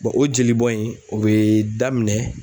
o jeli bɔn in o bɛ daminɛ.